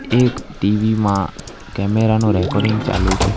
એક ટી_વિ માં કેમેરા નો રેકોર્ડિંગ ચાલુ છે.